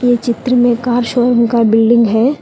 ये चित्र में कार शोरूम का बिल्डिंग है।